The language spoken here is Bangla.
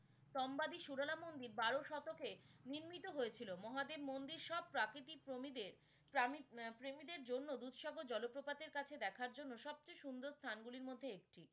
টোম্বালী সুরেলা মন্দির বারো শতকে নির্মিত হয়েছিল, মহাদেব মন্দির সব প্রাকৃতিক প্রমীদের আহ প্রেমিদের জন্য দূরসর্গ জলপ্রপাতের কাছে দেখার জন্য সব চেয়ে সুন্দর স্থান গুলির মধ্যে একটি